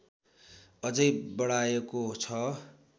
अझै बढाएको छ